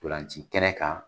Ntolanci kɛnɛ kan